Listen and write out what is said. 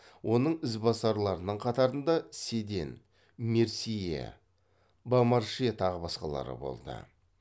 оның ізбасарларының қатарында седен мерсье бомарше тағы басқалары болды